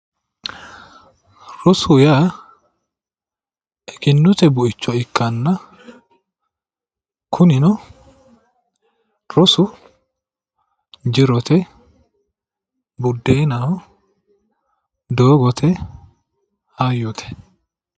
Rosu yaa egennote buicho ikkanna kunino rosu jirote, buddeenaho, doogote hayyote